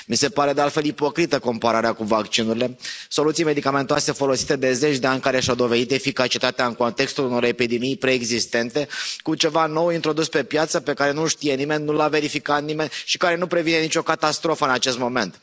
Mi se pare de altfel ipocrită compararea cu vaccinurile, soluții medicamentoase folosite de zeci de ani care și au dovedit eficacitatea în contextul unor epidemii preexistente, cu ceva nou introdus pe piață, pe care nu l știe nimeni, nu l a verificat nimeni și care nu previne nicio catastrofă în acest moment.